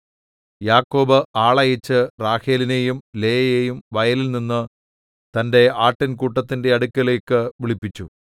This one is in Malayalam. യാക്കോബ് ആളയച്ച് റാഹേലിനേയും ലേയായെയും വയലിൽ തന്റെ ആട്ടിൻ കൂട്ടത്തിന്റെ അടുക്കലേക്ക് വിളിപ്പിച്ചു